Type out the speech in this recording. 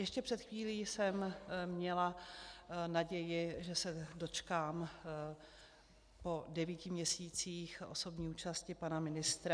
Ještě před chvílí jsem měla naději, že se dočkám po devíti měsících osobní účast pana ministra.